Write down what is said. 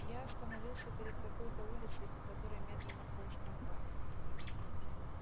я остановился перед какой-то улицей по которой медленно полз трамвай